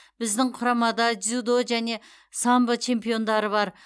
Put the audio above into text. біздің құрамада дзюдо және самбо чемпиондары бар